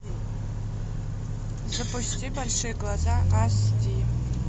запусти большие глаза аш ди